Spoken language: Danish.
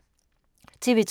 TV 2